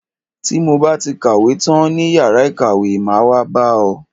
Ti mo ba ti kàwé tán ní yàrá ìkàwé, máa wá bá ọ.